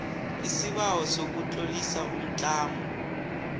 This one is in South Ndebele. isibawo sokutlolisa umtlamo